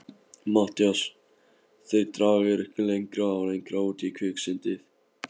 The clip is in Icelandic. MATTHÍAS: Þeir draga ykkur lengra og lengra út í kviksyndið!